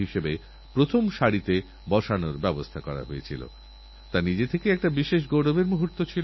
তবে আমরা যদি সচেতন থাকি সর্তক থাকি রোগের মোকাবিলায় সচেষ্ট থাকিতাহলে এর থকে বাঁচা সহজ